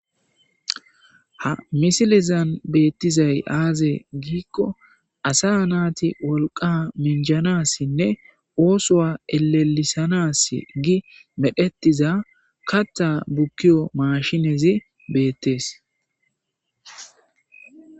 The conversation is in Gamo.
Ha missilezan bettizay aaze giiko asa nati wolqqa minjanasine oso ellelisanas gii medhdhetiza kaththa bukkiyo mashshinezi bettes.